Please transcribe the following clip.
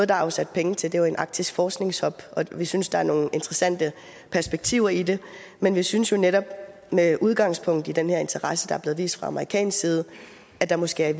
der er afsat penge til er jo en arktisk forskningshub og vi synes der er nogle interessante perspektiver i det men vi synes jo netop med udgangspunkt i den her interesse der er blevet vist fra amerikansk side at der måske